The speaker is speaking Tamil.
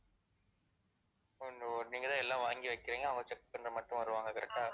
ஓஹோ! நீங்க தான் எல்லா வாங்கி வைக்கிறீங்க, அவுங்க set பண்ண மட்டும் வருவாங்க correct ஆ